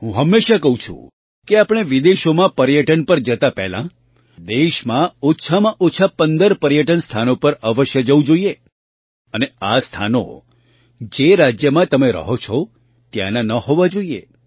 હું હંમેશાં કહું છું કે આપણે વિદેશોમાં પર્યટન પર જતા પહેલાં દેશમાં ઓછામાં ઓછાં ૧૫ પર્યટન સ્થાનો પર અવશ્ય જવું જોઈએ અને આ સ્થાનો જે રાજ્યમાં તમે રહો છો ત્યાંનાં ન હોવાં જોઈએ